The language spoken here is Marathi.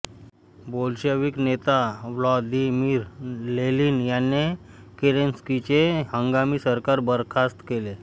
बोल्शॅव्हिक नेता व्लादिमीर लेनिन याने केरेन्स्कीचे हंगामी सरकार बरखास्त केले